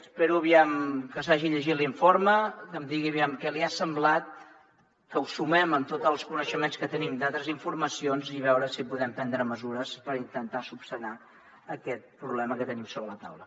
espero aviam que s’hagi llegit l’informe que em digui aviam què li ha semblat que ho sumem amb tots els coneixements que tenim d’altres informacions i veure si podem prendre mesures per intentar solucionar aquest problema que tenim sobre la taula